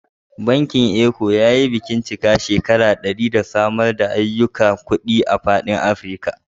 Bankin Eco yayi bikin cika shekaru ɗari da samar da ayyukan kuɗi a fadin Afirka